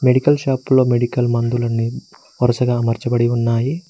Medical shop లో medical మందులన్నీ వరుసగా మార్చబడి ఉన్నాయి.